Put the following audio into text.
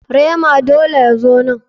Rema dole ya zo nan.